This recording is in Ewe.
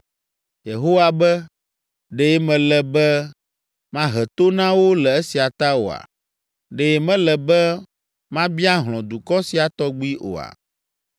Yehowa be, ‘Ɖe mele be mahe to na wo le esia ta oa? Ɖe mele be mabia hlɔ̃ dukɔ sia tɔgbi oa?’